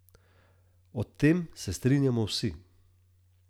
O tem se strinjamo vsi.